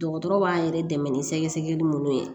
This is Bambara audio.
Dɔgɔtɔrɔw b'a yɛrɛ dɛmɛ ni sɛgɛsɛgɛli minnu ye